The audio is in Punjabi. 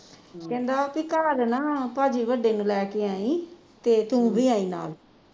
ਕਹਿੰਦਾ ਬੀ ਘੱਰ ਨਾ ਭਾਜੀ ਵੱਡੇ ਨੂੰ ਲੈ ਕੇ ਆਈ ਤੇ ਤੂੰ ਵੀ ਆਈ ਨਾਲ